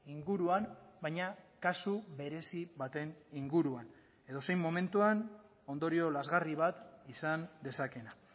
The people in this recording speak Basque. inguruan baina kasu berezi baten inguruan edozein momentuan ondorio lazgarri bat izan dezakeena